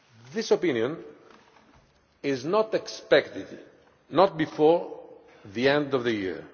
This opinion is not expected before the end of the year.